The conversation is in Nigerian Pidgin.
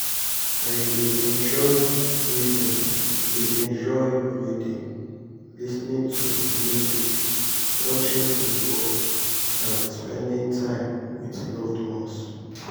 i dey enjoy reading dey enjoy reading lis ten ing to music watching football and spending time with loved ones.